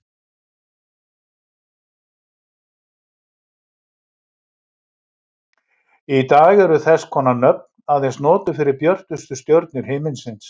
Í dag eru þess konar nöfn aðeins notuð fyrir björtustu stjörnur himinsins.